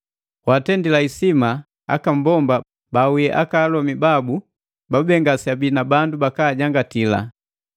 Watendila isima aka mbomba bawii akalomi babu babube ngaseabii na bandu bakajangatila.